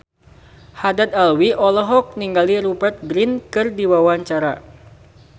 Haddad Alwi olohok ningali Rupert Grin keur diwawancara